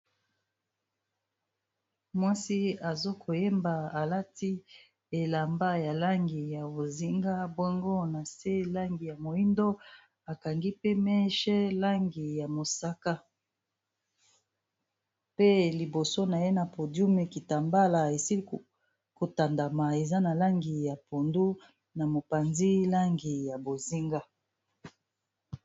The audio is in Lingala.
Mwasi azokoyeba alati elamba ya langi ya bozinga bongo na se langi ya moyindo akangi pe meche langi ya mosaka pe liboso na ye na podiume kita mbala esili kotandama eza na langi ya pondu na mopanzi langi ya bozinga